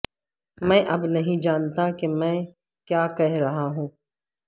میں اب نہیں جانتا کہ میں کیا کہہ رہا ہوں